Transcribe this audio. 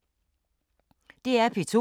DR P2